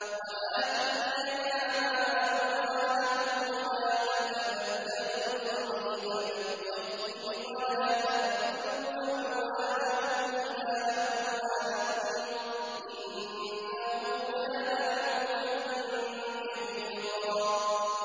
وَآتُوا الْيَتَامَىٰ أَمْوَالَهُمْ ۖ وَلَا تَتَبَدَّلُوا الْخَبِيثَ بِالطَّيِّبِ ۖ وَلَا تَأْكُلُوا أَمْوَالَهُمْ إِلَىٰ أَمْوَالِكُمْ ۚ إِنَّهُ كَانَ حُوبًا كَبِيرًا